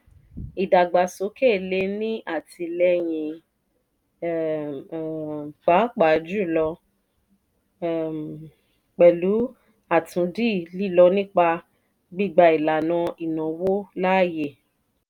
ìdàgbàsókè le è ní àtìlẹ́yìn um pàápàá jùlọ um pẹ̀lú àtúndì lilọ nípa gbígbà ìlànà ìnáwó láàyè.